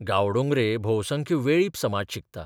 गांवडोंगरे भोवसंख्य वेळीप समाज शिकता.